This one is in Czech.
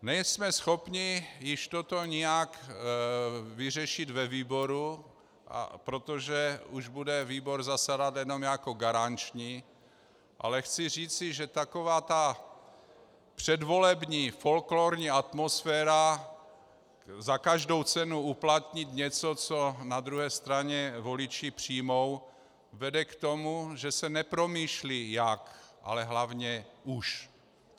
Nejsme schopni již toto nijak vyřešit ve výboru, protože už bude výbor zasedat jenom jako garanční, ale chci říci, že taková ta předvolební folklórní atmosféra za každou cenu uplatnit něco, co na druhé straně voliči přijmou, vede k tomu, že se nepromýšlí jak, ale hlavně už.